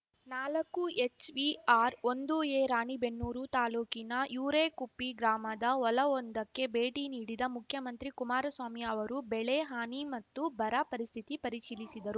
ನಾಲಕ್ಕುಎಚ್‌ವಿಆರ್‌ಒಂದುಎ ರಾಣಿಬೆನ್ನೂರು ತಾಲೂಕಿನ ಯರೇಕುಪ್ಪಿ ಗ್ರಾಮದ ಹೊಲವೊಂದಕ್ಕೆ ಭೇಟಿ ನೀಡಿದ ಮುಖ್ಯಮಂತ್ರಿ ಕುಮಾರಸ್ವಾಮಿ ಅವರು ಬೆಳೆ ಹಾನಿ ಮತ್ತು ಬರ ಪರಿಸ್ಥಿತಿ ಪರಿಶೀಲಿಸಿದರು